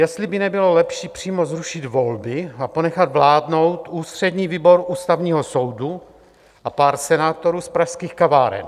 Jestli by nebylo lepší přímo zrušit volby a ponechat vládnout ústřední výbor Ústavního soudu a pár senátorů z pražských kaváren?